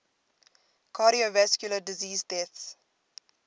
cardiovascular disease deaths